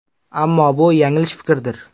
Ammo bu yanglish fikrdir.